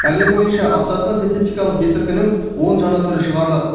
әлем бойынша аптасына синтетикалық есірткінің он жаңа түрі шығарылады